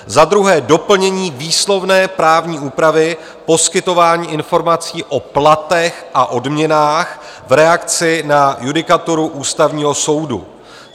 Za druhé doplnění výslovné právní úpravy, poskytování informací o platech a odměnách v reakci na judikaturu Ústavního soudu.